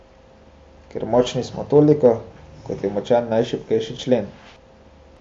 Ker močni smo toliko, kot je močan najšibkejši člen.